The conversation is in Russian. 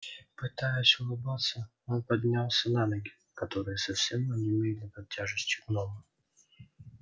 пытаясь улыбаться он поднялся на ноги которые совсем онемели под тяжестью гнома